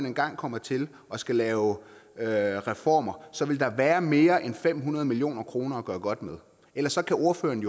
engang kommer til og skal lave lave reformer så vil der være mere end fem hundrede million kroner at gøre godt med ellers så kan ordføreren